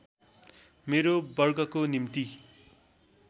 मेरो वर्गको निम्ति